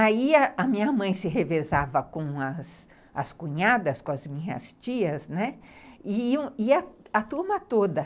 Aí a minha mãe se revezava com as cunhadas, com as minhas tias, né, e a turma toda.